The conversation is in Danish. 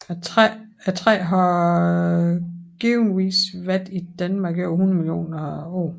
Træet har givetvis været i Danmark i over 100 millioner år